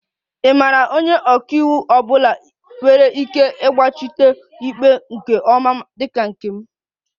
Ị maara onye ọka iwu ọ bụla nwere ike ịgbachitere ikpe nke ọma dị ka nke m?